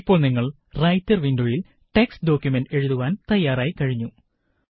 ഇപ്പോള് നിങ്ങള് റൈറ്റര് വിന്ഡോയില് ടെക്സ്റ്റ് ഡോക്കുമന്റ് എഴുതുവാന് തയാറായി കഴിഞ്ഞു